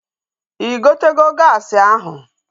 Ị gotego gaasi ahụ?